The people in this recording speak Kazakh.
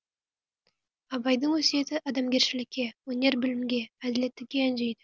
абайдың өсиеті адамгершілікке өнер білімге әділеттілікке үндейді